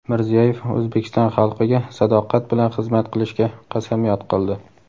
Mirziyoyev O‘zbekiston xalqiga sadoqat bilan xizmat qilishga qasamyod qildi.